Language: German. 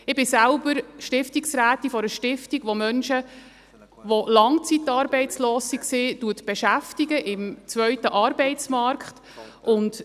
Ich bin selbst Stiftungsrätin einer Stiftung, welche Menschen, die langzeitarbeitslos waren, im zweiten Arbeitsmarkt beschäftigt.